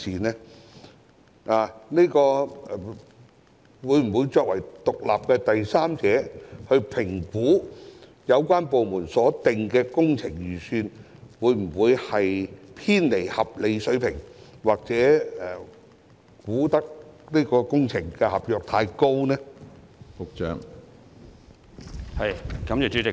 項目辦會否作為獨立的第三者，評估有關部門所定的工程預算會否偏離合理水平，或就工程合約價格作出過高估算？